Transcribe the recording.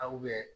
Aw bɛ